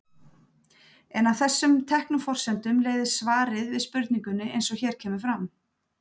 En af þessum teknu forsendum leiðir svarið við spurningunni eins og hér kemur fram.